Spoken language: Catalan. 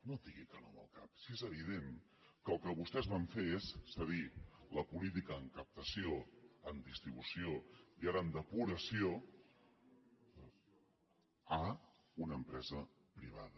no digui que no amb el cap si és evident que el que vostès van fer és cedir la política en captació en distribució i ara en depuració a una empresa privada